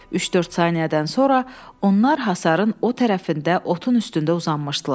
Üç-dörd saniyədən sonra onlar hasarın o tərəfində otun üstündə uzanmışdılar.